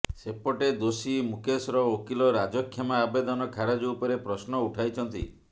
ସେପଟେ ଦୋଷୀ ମୁକେଶର ଓକିଲ ରାଜକ୍ଷମା ଆବେଦନ ଖାରଜ ଉପରେ ପ୍ରଶ୍ନ ଉଠାଇଛନ୍ତି